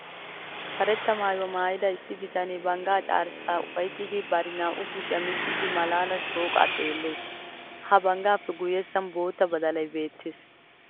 Karetta maayuwa maayida issi bitanee banggaa carshshaassi ufayttiiddi bari naa"u kushiya miccidi malaalan shooqaa xeellees. Ha banggaappe guyyessan boota badalay beettes.